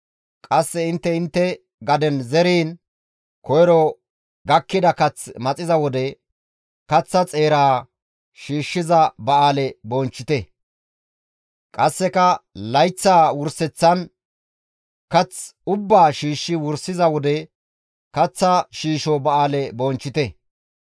«Qasse intte intte gaden zeriin, koyro gakkida kath maxiza wode, kaththa xeera shiishshiza ba7aale bonchchite. «Qasseka layththaa wurseththan, kath ubbaa shiishshi wursiza wode, kaththa shiisho ba7aale bonchchite.